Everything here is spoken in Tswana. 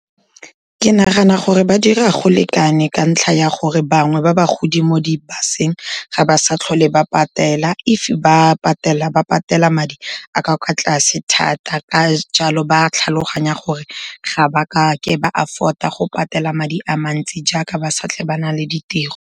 Ke nagana gore ba dira go lekane ka ntlha ya gore, bangwe ba bagodi mo dibuseng ga ba sa tlhole ba patela, if ba patelela, ba patela madi a ka kwa tlase thata. Ka jalo, ba tlhaloganya gore ga ba kake ba afford-a go patela madi a mantsi, jaaka ba sa tlhole ba na le ditiro.